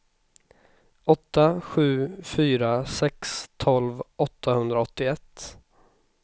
åtta sju fyra sex tolv åttahundraåttioett